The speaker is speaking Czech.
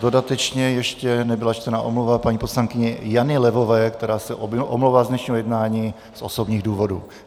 Dodatečně - ještě nebyla čtena omluva paní poslankyně Jany Levové, která se omlouvá z dnešního jednání z osobních důvodů.